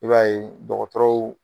I b'a ye dɔkɔtɔrɔw